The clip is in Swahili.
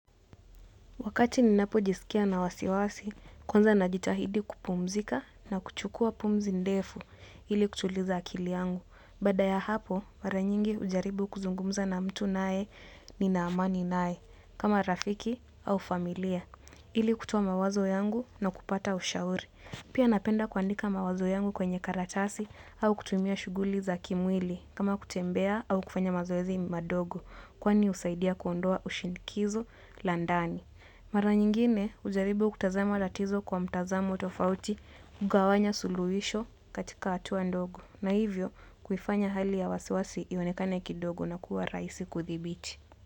Wakati ninapo jisikia nina wasiwasi, kwanza najitahidi kupumzika na kuchukua pumzi ndefu ili kutuliza akili yangu. Baada ya hapo mara nyingi hujaribu kuzungumza na mtu ninaye nina amani naye kama rafiki au familia ili kutoa mawazo yangu na kupata ushauri. Pia napenda kuandika mawazo yangu kwenye karatasi au kutumia shughuli za kimwili, kama kutembea au kufanya mazoezi madogo, kwani husaidia kuondoa ushinkizo la ndani. Mara nyingine hujaribu kutazama tatizo kwa mtazamo tofauti kugawanya suluhisho katika hatua ndogo na hivyo kuifanya hali ya wasiwasi ionekane kidogo na kuwa raisi kudhibiti.